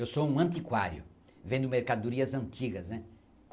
Eu sou um antiquário, vendo mercadorias antigas, né?